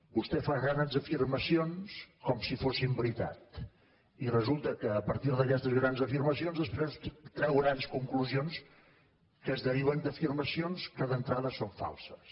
vostè fa grans afirmacions com si fossin veritat i resulta que a partir d’aquestes grans afirmacions després treu grans conclusions que es deriven d’afirmacions que d’entrada són falses